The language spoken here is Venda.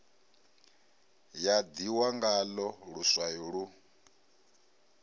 ya ḓihwa ngaḽo luswayo lu